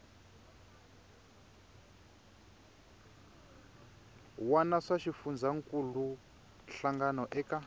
wana swa xifundzankuluwa hlangano eka